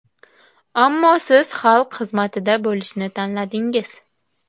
Ammo siz xalq xizmatida bo‘lishni tanladingiz.